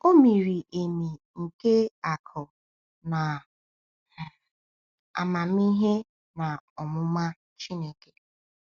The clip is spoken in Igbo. “O miri emi nke akụ na um amamihe na ọmụma Chineke!”